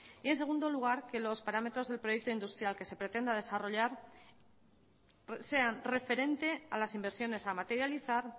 y en segundo lugar que los parámetros del proyecto industrial que se pretenda desarrollar sean referente a las inversiones a materializar